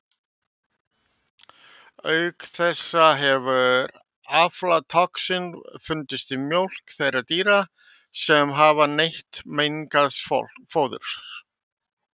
Auk þessa hefur aflatoxín fundist í mjólk þeirra dýra sem hafa neytt mengaðs fóðurs.